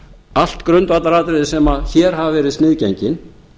allt grundvallaratriði sem hér hafa verið sniðgengin